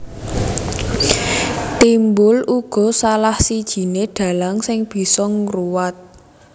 Timbul uga salah sijiné dhalang sing bisa ngruwat